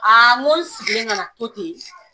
n ko sigilen ka na to ten